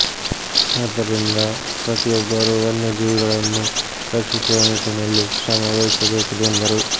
ಆದ್ದರಿಂದ ಪ್ರತಿಯೊಬ್ಬರು ವನ್ಯ ಜೀವಿಗಳನ್ನು ರಕ್ಷಿಸುವ ನಿಟ್ಟಿನಲ್ಲಿ ಶ್ರಮ ವಹಿಸಬೇಕಿದೆ ಎಂದರು